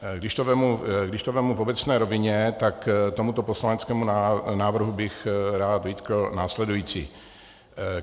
Když to vezmu v obecné rovině, tak tomuto poslaneckému návrhu bych rád vytkl následující.